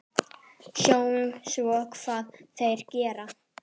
Sjáum svo hvað þeir gera.